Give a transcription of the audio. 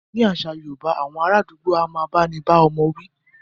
Nínú àṣà yorúbá, awọn ará àdúgbò a máà bá ní bá ọmọ wí.